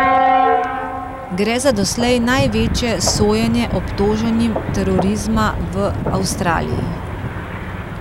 Gre za doslej največje sojenje obtoženim terorizma v Avstraliji.